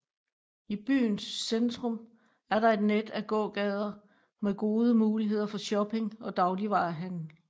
I byen centrum er der et net af gågader med gode muligheder for shopping og dagligvare handel